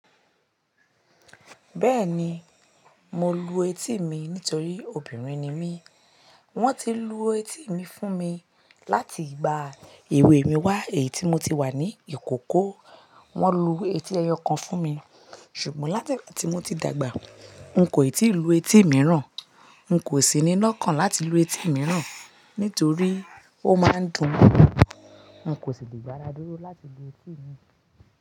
Bẹ́ẹ̀ni, mo lu etí mi nítorí obìnrin ni mí. Wọ́n ti lu etí mi fún mi láti ìgbà èwe mi wá èyí tí mo ti wà ní ìkókó. Wọ́n lu etí ẹyọ kan fún mi. Ṣùgbọ́n láti ìgbà tí mo ti dàgbà, n kò ì tí ì lu etí míràn. N kò sì ní lọ́kàn láti lu etí míràn. Nítorí ó máa ń dun. N kò sì lè gbáraduró láti lu etí mi.